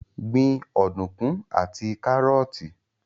Gbin ọ̀dùnkún àti kárọ́ọ́tì